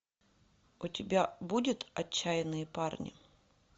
у тебя будет отчаянные парни